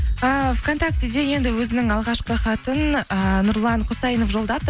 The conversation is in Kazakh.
ііі вконтактеде енді өзінің алғашқы хатын ыыы нұрлан құсайынов жолдапты